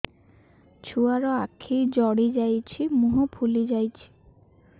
ଛୁଆର ଆଖି ଜଡ଼ି ଯାଉଛି ମୁହଁ ଫୁଲି ଯାଇଛି